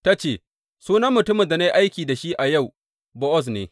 Ta ce, Sunan mutumin da na yi aiki da shi a yau Bowaz ne.